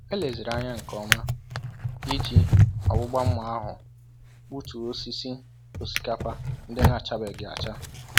Eleziri anya nke ọma iji ọgbụgba mma ahụ gbutuo osisi osikapa ndị n'achabeghị acha.